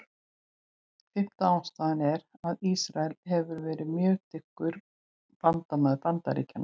Fimmta ástæðan er, að Ísrael hefur verið mjög dyggur bandamaður Bandaríkjanna.